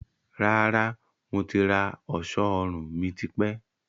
Rárá, mo ti rà ọ̀ṣọ́ ọrùn mi tipẹ́